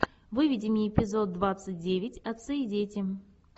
выведи мне эпизод двадцать девять отцы и дети